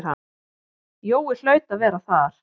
Jói hlaut að vera þar.